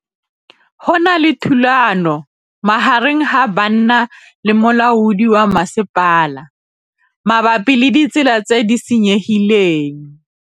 Go na le thulanô magareng ga banna le molaodi wa masepala mabapi le ditsela tse di senyegileng.